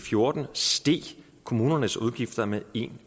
fjorten steg kommunernes udgifter med en